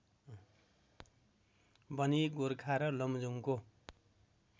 बनि गोर्खा र लमजुङको